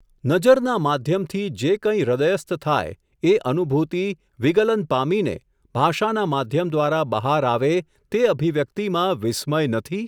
નજરના માધ્યમથી જે કંઈ હૃદયસ્થ થાય, એ અનુભૂતિ વિગલન પામીને, ભાષાના માધ્યમ દ્વારા બહાર આવે, તે અભિવ્યક્તિમાં વિસ્મય નથી ?.